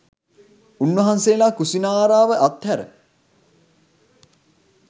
උන්වහන්සේලා කුසිනාරාව අත්හැර